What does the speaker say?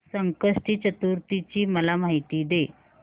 संकष्टी चतुर्थी ची मला माहिती दे